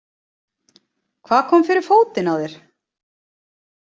Og hvað kom fyrir fótinn á þér?